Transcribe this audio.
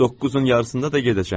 Doqquzun yarısında da gedəcəm.